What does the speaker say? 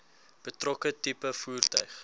betrokke tipe voertuig